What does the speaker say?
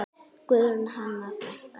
Guðrún Hanna frænka.